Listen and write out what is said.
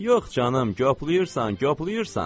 Yox canım, göpləyirsən, göpləyirsən.